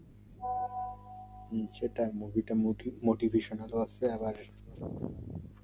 হুম সেটাই movie টা motivation রয়েছে আবার